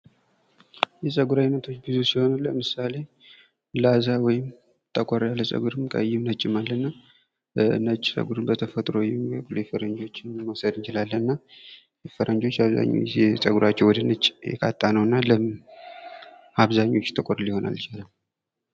የፀጉር አይነቶች ብዙ ሲሆኑ ለምሳሌ ላዛ ወይም ጠቆር ያለ ፀጉርም ቀይም ነጭም አለ:: እና ነጭ ፀጉር በተፈጥሮ የፈረንጆችን መውሰድ እንችላለን እና ፈረንጆች አብዛኛውን ፀጉራቸው ጊዜ ወደ ነጭ የቃጣ ነው እና ለምን አብዛኞቹ ጥቁር ሊሆን አልቻለም::